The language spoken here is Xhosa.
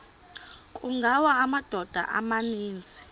kungawa amadoda amaninzi